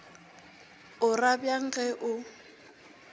o ra bjang ge o